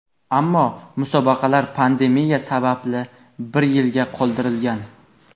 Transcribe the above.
ammo musobaqalar pandemiya sababli bir yilga qoldirilgan.